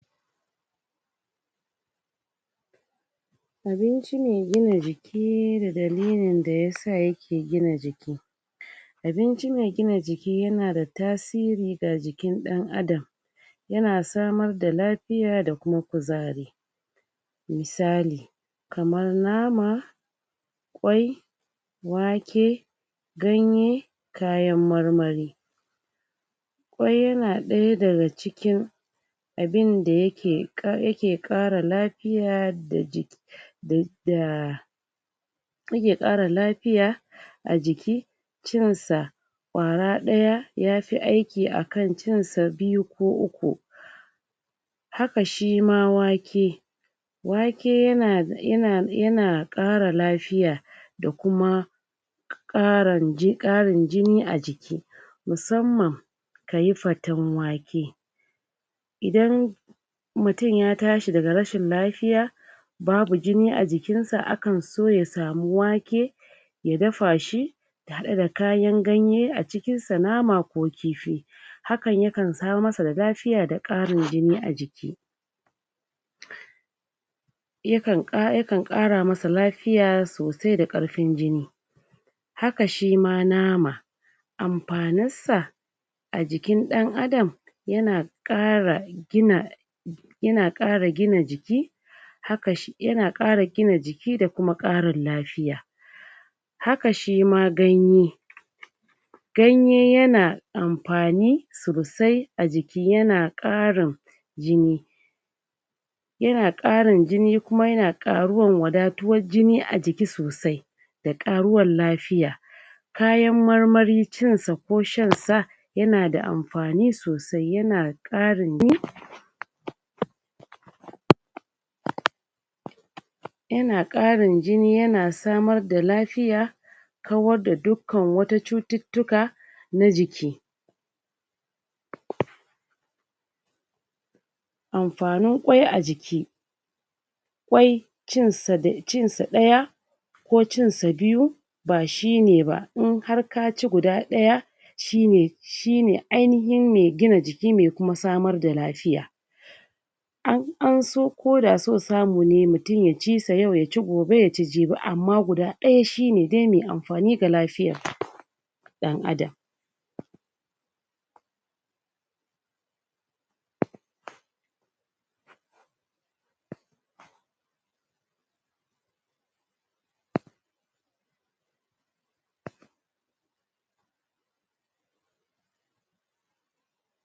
abinci me gina jiki da dalilin da yasa yake gina jiki abinci me gina jiki yana da tasiri ga jikin ɗan adam yana samar da lafiya da kuma kuzari misali kamar nama ƙwai wake ganye kayan marmari ƙwai yana ɗaya daga cikin abinda yake ƙara lafiya da jiki da yake ƙara lafiya a jiki cinsa ƙwara ɗaya yafi aiki akan cinsa biyu ko uku haka shima wake wake yana ƙara lafiya da kuma ƙarin jini a jiki musamman kayi fatan wake idan mutum ya tashi daga rashin lafiya babu jini a jikinsa akanso ya samu wake ya dafa shi haɗe da kayan ganye a cikin sa nama ko kifi hakan yakan samar masa da lafiya da karin jini a jiki yakan ƙara masa lafiya sosai da ƙarfin jini haka shima nama amfaninsa a jikin ɗan adam yana ƙara gina jiki yana ƙara jiki da kuma ƙarin lafiya haka shima ganye ganye yana amfani sosai a jiki yana ƙarin jini yana ƙarin jini kuma yana ƙaruwar wadatuwar jini a jiki sosai da ƙaruwar lafiya kayan marmari cinsa ko shansa yana da mafani sosai yana ƙarin jini yana ƙarin jini yana samar da lafiya kawar da dukan wata cututtuka na jiki amfanin ƙwai a jiki ƙwai cinsa ɗaya ko cinsa biyu bashine ba in har kaci guda ɗa shine shine ainahin me gina jiki me kuma samar da lafiya anso ko da so samune mutum yaci sa yau yaci gobe yaci jibi amma guda ɗaya kuma shine dai me amfani ga lafiyar ɗan adam